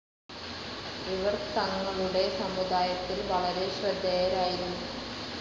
ഇവർ തങ്ങളുടെ സമുദായത്തിൽ വളരെ ശ്രദ്ധേയരായിരുന്നു.